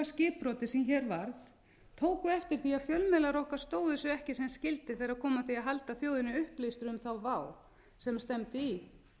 skipbroti sem hér varð tóku eftir því að fjölmiðlar okkar stóðu sig ekki sem skyldi þegar kom að því að halda þjóðinni upplýstri um þá vá sem stefndi í